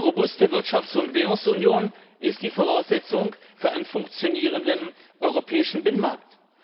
Eine robuste Wirtschafts und Währungsunion ist die Voraussetzung für einen funktionierenden europäischen Binnenmarkt.